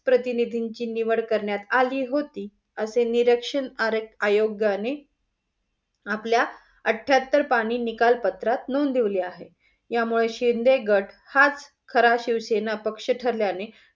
प्रतिनिधींची निवड करण्यात आली होती असे निरक्षण अरक आयोग्याने आपल्या आत्तेहतरपानी निकालपत्रात नोंदवली आहे. यामुळे शिंद गट हाच खरा शिवसेनापक्ष ठरल्याने